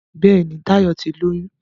Béèni Tayo tí lóyún.